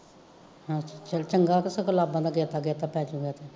ਚਲ ਚੰਗਾ ਕਿ ਲਾਂਬਾ ਦਾ ਗੇਤਾ ਗੇਤਾ ਪੈਜੂਗਾ ਤੇ